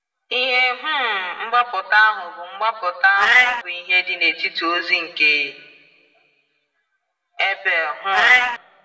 Ihe um mgbaputa ahụ bụ mgbaputa ahụ bụ ihe dị n’etiti ozi nke Abel. um